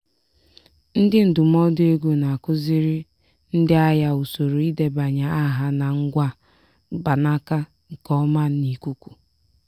ndị ndụmọdụ ego na-akụziri ndị ahịa usoro idebanye aha na ngwa mkpanaka nke ọma n'ikuku